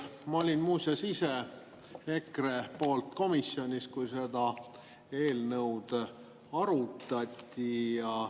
Ma olin muuseas ise EKRE esindajana komisjonis, kui seda eelnõu arutati.